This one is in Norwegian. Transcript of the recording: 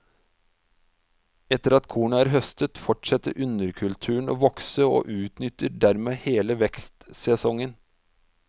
Etter at kornet er høstet, fortsetter underkulturen å vokse og utnytter dermed hele vekstsesongen.